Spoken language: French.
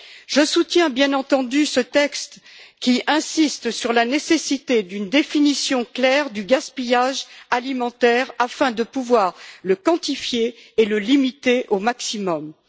Je soutiens bien entendu ce texte, qui insiste sur la nécessité d'une définition claire du gaspillage alimentaire afin de pouvoir le quantifier et le limiter autant que possible.